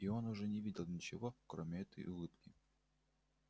и он уже не видел ничего кроме этой улыбки